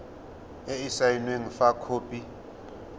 e e saenweng fa khopi